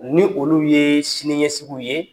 Ni olu ye siniɲɛ sugu ye